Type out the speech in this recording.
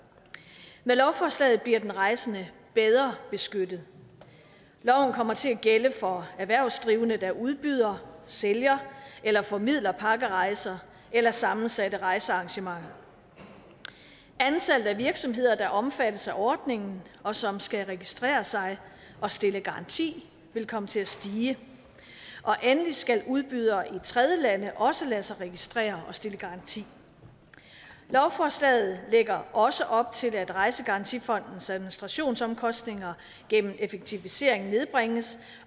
med lovforslaget bliver den rejsende bedre beskyttet loven kommer til at gælde for erhvervsdrivende der udbyder sælger eller formidler pakkerejser eller sammensatte rejsearrangementer antallet af virksomheder der omfattes af ordningen og som skal registrere sig og stille garanti vil komme til at stige endelig skal udbydere i tredjelande også lade sig registrere og stille garanti lovforslaget lægger også op til at rejsegarantifondens administrationsomkostninger gennem effektivisering nedbringes